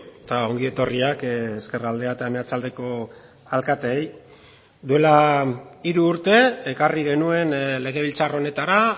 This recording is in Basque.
eta ongietorriak ezkerraldea eta meatzaldeko alkateei duela hiru urte ekarri genuen legebiltzar honetara